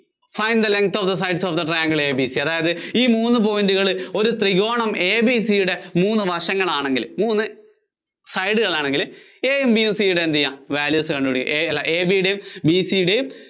find the length of the sides of the triangle ABC അതായത് ഈ മൂന്ന് point കള്‍ ഒരു ത്രികോണം ABC യുടെ മൂന്ന് വശങ്ങളാണെങ്കില്‍, മൂന്ന് side കള്‍ ആണെങ്കില്‍ A യും B യും C യുടെ എന്തുചെയ്യാ? values കണ്ടുപിടിക്കുക, A അല്ല AB യുടെയും BC യുടെയും